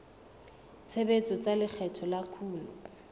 tshebetso tsa lekgetho la kuno